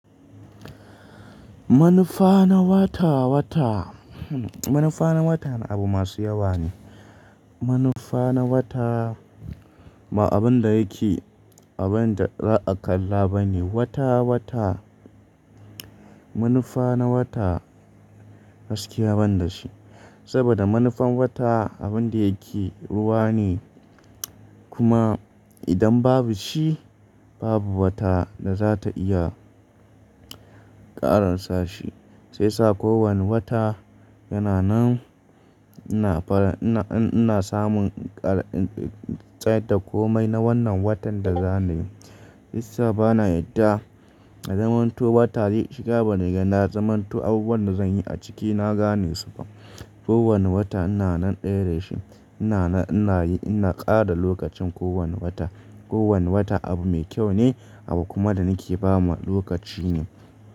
Manufa na wata wata, manufa na wata abu masu yawa ne. Manufa na wata ba abin da yake abin da za a kalla ba ne. Wata wata, manufa na wata gaskiya ban da shi. Saboda manufan wata abin da yake ruwa ne kuma idan babu shi babu wata da za ta iya ƙaransa shi. Sai sa kowane wata yana nan, ina fara ina, ina samun tsayar da komai na wannan watan da za ni yi. Sai sa bana yadda na zamanto wata dai shiga bana gana zamanto abubuwan da zan yi a ciki na gane su fa. Ko wani wata ina nan ɗaya da shi, ina nan ina yi ina ƙara lokacin kowane wata. Kowane wata abu mai kyau ne, abu kuma da nake ba ma lokaci ne.